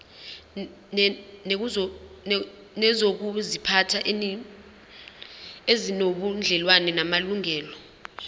nezokuziphatha ezinobudlelwano namalungelo